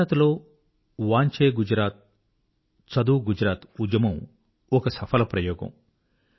గుజరాత్ లో వాంచె గుజరాత్ చదువు గుజరాత్ ఉద్యమం ఒక సఫల ప్రయోగం